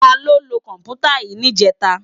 Táló ló kòmpútá yi nijètá?